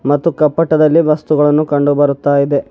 ಮತ್ತು ಕಪಟದಲ್ಲಿ ವಸ್ತುಗಳನ್ನು ಕಂಡು ಬರುತ್ತ ಇದೆ.